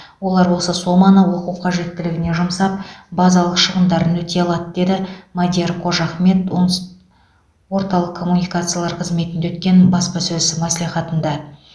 олар осы соманы оқу қажеттілігіне жұмсап базалық шығындарын өтей алады деді мадияр қожахмет оңтүс орталық коммуникациялар қызметінде өткен баспасөз мәслихатында